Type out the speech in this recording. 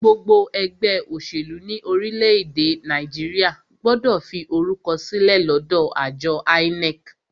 Gbogbo ẹgbẹ́ òṣèlú ní orílẹ̀-èdè Nàìjíríà gbọ́dọ̀ fi orúkọ sílẹ̀ lọ́dọ àjọ INEC.